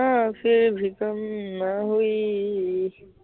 य़ा फिर भी कम ना हुई